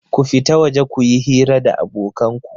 Ku fita waje ku yi hira da abokan ku!